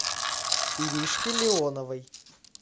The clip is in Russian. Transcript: иришке леоновой